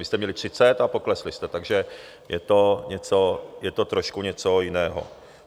Vy jste měli třicet a poklesli jste, takže je to trošku něco jiného.